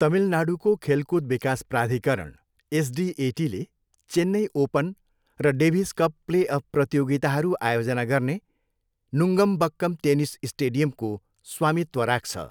तमिलनाडूको खेलकुद विकास प्राधिकरण, एसडिएटीले चेन्नई ओपन र डेभिस कप प्लेअफ प्रतियोगिताहरू आयोजना गर्ने नुङ्गम्बक्कम टेनिस स्टेडियमको स्वामित्व राख्छ।